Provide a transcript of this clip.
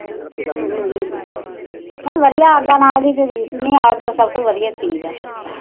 ਨਹੀਂ ਵਧੀਆਂ ਆਘ ਨਾਲ ਦੀ ਰੀਸ ਨੀ ਆਘ ਤਾ ਸੱਭ ਤੋ ਵਧੀਆਂ ਹੁੰਦਾ